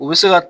U bɛ se ka